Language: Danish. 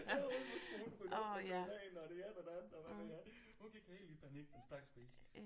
Ja nu skulle hun rydde op og gøre rent og det ene og det andet og hvad ved jeg hun gik helt i panik den stakkels pige